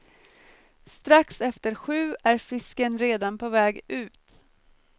Strax efter sju är fisken redan på väg ut.